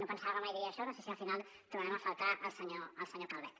pensava que mai diria això no sé si al final trobarem a faltar el senyor calvet